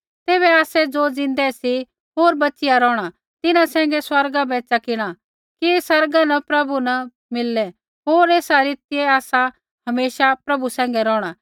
तैबै आसै ज़ो ज़िन्दै सी होर बच़िया रौहणा तिन्हां सैंघै स्वर्गा पैंधै च़किणा कि आसमाना न प्रभु न मिललै होर एसा रीतियै आसा हमेशा प्रभु सैंघै रौहणा